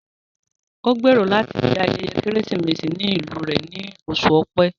Ó gbèrò láti se ayẹyẹ Kérésìmesì ní ìlú rẹ ní oṣù Ọ̀pẹ